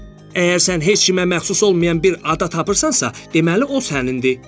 Əgər sən heç kimə məxsus olmayan bir ada tapırsansa, deməli o sənindir.